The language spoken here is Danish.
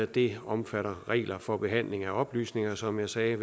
det omfatter regler for behandling af oplysninger som jeg sagde